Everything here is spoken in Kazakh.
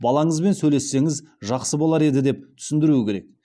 балаңызбен сөйлессеңіз жақсы болар еді деп түсіндіру керек